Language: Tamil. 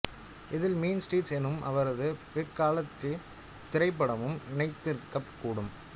இதில் மீன் ஸ்ட்ரீட்ஸ் என்னும் அவரது பிற்காலத்திய திரைப்படமும் இணைந்திருக்கக் கூடும்